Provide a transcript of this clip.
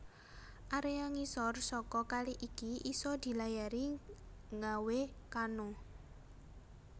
Area ngisor saka kali iki iso dilayari ngawe kano